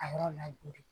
A yɔrɔ ladonni